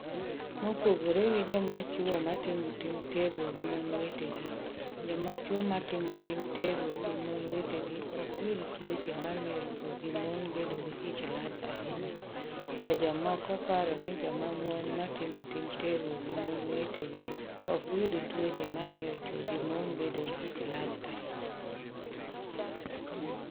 Mopogore gi joma chwo matimo tim terruok gi mon wetegi, joma chwo matimo tim terruok gi mon wetegi ok yud tuoche mamiyo chwo gi mon bedo gi ich lach ahinya, to jomoko paro ni joma mon matimo tim terruok gi mon wetegi ok yud tuoche mamiyo chwo gi mon bedo gi ich lach ahinya.